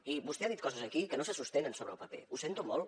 i vostè ha dit coses aquí que no se sostenen sobre el paper ho sento molt